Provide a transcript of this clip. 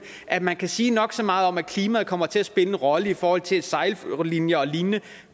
at man kan sige nok så meget om at klimaet kommer til at spille en rolle i forhold til at sejllinjer og lignende